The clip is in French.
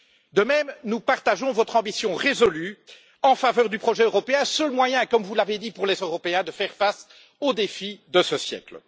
De même, nous partageons votre ambition résolue en faveur du projet européen, seul moyen comme vous l'avez dit pour les Européens de faire face aux défis de ce siècle.